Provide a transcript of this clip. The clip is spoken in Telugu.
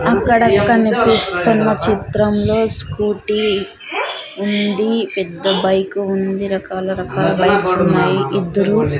అక్కడ కనిపిస్తున్న చిత్రం లో స్కూటీ ఉందీ పెద్ద బైక్ ఉంది రకాల రకాల బైక్స్ ఉన్నాయి ఇద్దురు--